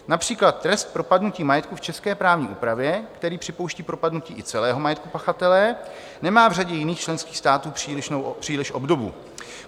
Například trest propadnutí majetku v české právní úpravě, který připouští propadnutí i celého majetku pachatele, nemá v řadě jiných členských států příliš obdobu.